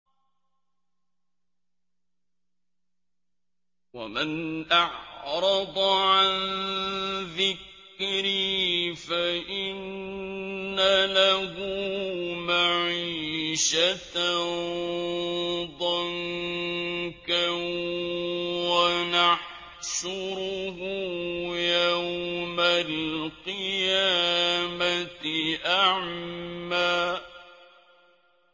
وَمَنْ أَعْرَضَ عَن ذِكْرِي فَإِنَّ لَهُ مَعِيشَةً ضَنكًا وَنَحْشُرُهُ يَوْمَ الْقِيَامَةِ أَعْمَىٰ